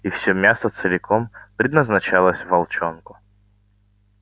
и всё мясо целиком предназначалось волчонку